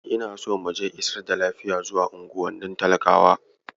Ina so mu je isar da lafiya zuwa unguwannin talakawa.